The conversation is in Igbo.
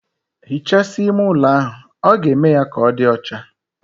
Hichasia ime ụlo ahụ, ọ ga-eme ya ka ọdi ọcha